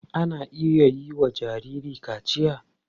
Ana iya yiwa jarirai kaciya.